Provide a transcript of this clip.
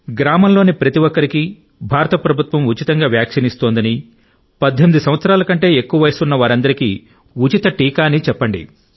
గ్రామంలోని ప్రతి ఒక్కరికీ భారత ప్రభుత్వం ఉచిత వ్యాక్సిన్ ఇస్తోందని 18 సంవత్సరాల కంటే ఎక్కువ వయస్సు ఉన్న వారందరికీ ఉచిత టీకా అని చెప్పండి